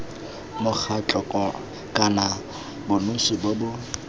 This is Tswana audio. mokgatlho kana bonosi bo bo